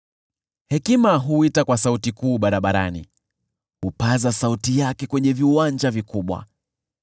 Hekima huita kwa sauti kuu barabarani, hupaza sauti yake kwenye viwanja vikubwa;